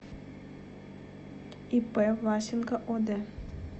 ип власенко од